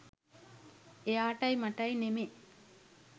එයාටයි මටයි නෙමෙ